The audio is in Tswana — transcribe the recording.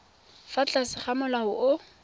fa tlase ga molao o